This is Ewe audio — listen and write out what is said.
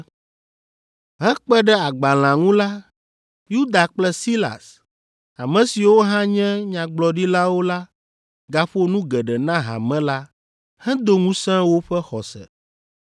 Hekpe ɖe agbalẽa ŋu la, Yuda kple Silas, ame siwo hã nye nyagblɔɖilawo la gaƒo nu geɖe na hame la hedo ŋusẽ woƒe xɔse.